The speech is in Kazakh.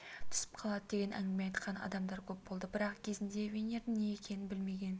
түсіп қалады деген әңгіме айтқан адамдар көп болды бірақ кезінде винирдің не екенін білмеген